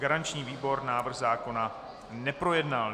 Garanční výbor návrh zákona neprojednal.